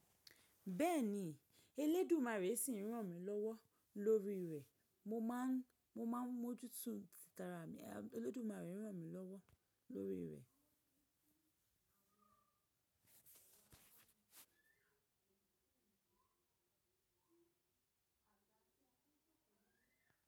Bẹ́ẹ̀ni, Eledùmarè sì ń ràn mí lọ́wọ́ lórí rẹ̀. Mo máa ń, mo máa ń mójútó tìtara mi, Olódùmarè ń ràn mí lọ́wọ́ lórí rẹ̀.